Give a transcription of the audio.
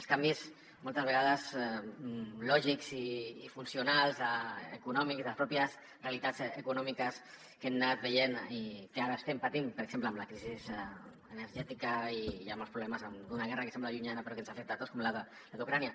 els canvis moltes vegades lògics i funcionals econòmics de les pròpies realitats econòmiques que hem anat veient i que ara estem patint per exemple amb la crisi energètica i amb els problemes d’una guerra que sembla llunyana però que ens afecta tots com la d’ucraïna